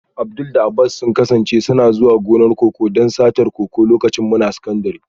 Abdul da Abbas sun kasance suna zuwa gonakin koko don satar koko lokacin muna sakandire